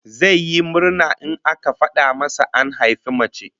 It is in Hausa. Zai yi murna in aka fada masa an haifi mace